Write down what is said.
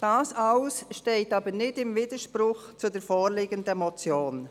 Das alles steht aber nicht im Widerspruch zur vorliegenden Motion.